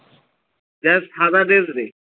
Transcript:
যার সাদা dress রে